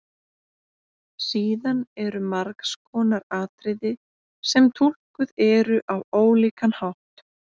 Síðan eru margs konar atriði sem túlkuð eru á ólíkan hátt.